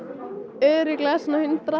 örugglega svona hundrað